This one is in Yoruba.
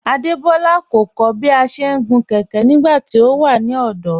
Adebọla kọ̀ kọ̀ bí à ṣé ń gun kẹkẹ̀ nígbàtí ọ wà ní ọdọ́